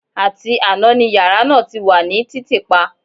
Àti àná ni yàrá náà ti wà ní títìpa